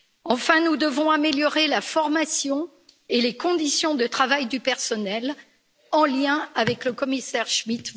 Enfin, nous devons améliorer la formation et les conditions de travail du personnel, en lien avec le commissaire Schmit.